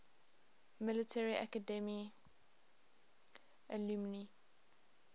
military academy alumni